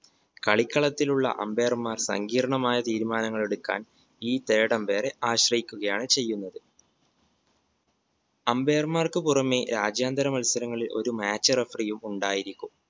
കളിക്കളത്തിലുള്ള umpire മാർ സങ്കീർണമായ തീരുമാനങ്ങളെടുക്കാൻ ഈ third umpire എ ആശ്രയിക്കുകയാണ് ചെയ്യുന്നത് umpire മാർക്ക് പുറമെ രാജ്യാന്തര മത്സരങ്ങളിൽ ഒരു match referee യും ഉണ്ടായിരിക്കും